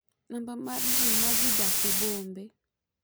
Namba mar ji ma dhi dak e bombe